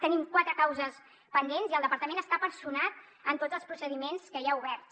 tenim quatre causes pendents i el departament està personat en tots els procediments que hi ha oberts